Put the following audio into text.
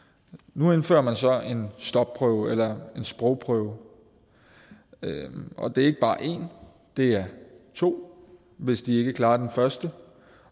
nu indfører man så en stopprøve eller en sprogprøve og det er ikke bare én det er to hvis de ikke klarer den første